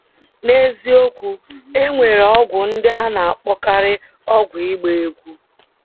N’eziokwu, e nwere ọgwụ ndị a na - akpọkarị ọgwụ ịgba egwú.